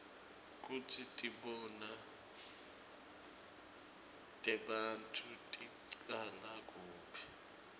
kutsi tibonao tebantfu ticala kuphi